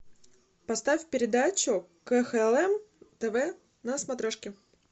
поставь передачу кхлм тв на смотрешке